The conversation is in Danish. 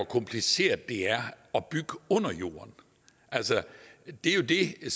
kompliceret det er her at bygge under jorden altså det er jo det